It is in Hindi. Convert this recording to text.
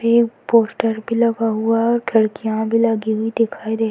ये एक पोस्टर भी लगा हुआ है और खिडकियां भी लगी हुई दिखाई दे --